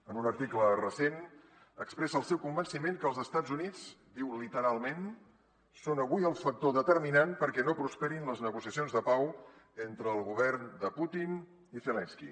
en un article recent expressa el seu convenci·ment que els estats units diu literalment són avui el factor determinant perquè no prosperin les negociacions de pau entre el govern de putin i zelenski